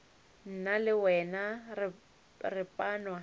nna le wena re panwa